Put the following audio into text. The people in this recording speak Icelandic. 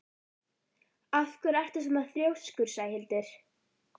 Af hverju ertu svona þrjóskur, Sæhildur?